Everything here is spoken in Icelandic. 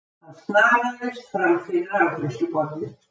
Hann snaraðist fram fyrir afgreiðsluborðið.